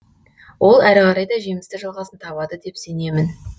ол әрі қарай да жемісті жалғасын табады деп сенемін